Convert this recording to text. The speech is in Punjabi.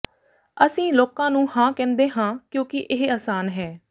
ਅਸੀਂ ਲੋਕਾਂ ਨੂੰ ਹਾਂ ਕਹਿੰਦੇ ਹਾਂ ਕਿਉਂਕਿ ਇਹ ਆਸਾਨ ਹੈ